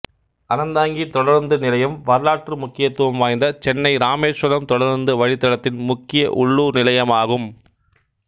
அறந்தாங்கி தொடருந்து நிலையம் வரலாற்று முக்கியத்துவம் வாய்ந்த சென்னை இராமேசுவரம் தொடருந்து வழித்தடத்தின் முக்கிய உள்ளூர் நிலையமாகும்